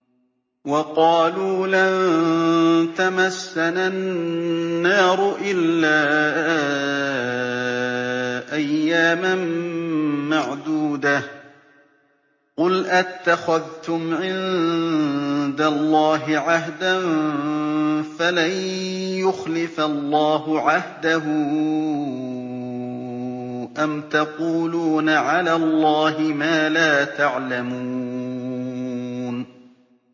وَقَالُوا لَن تَمَسَّنَا النَّارُ إِلَّا أَيَّامًا مَّعْدُودَةً ۚ قُلْ أَتَّخَذْتُمْ عِندَ اللَّهِ عَهْدًا فَلَن يُخْلِفَ اللَّهُ عَهْدَهُ ۖ أَمْ تَقُولُونَ عَلَى اللَّهِ مَا لَا تَعْلَمُونَ